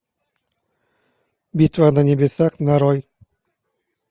битва на небесах нарой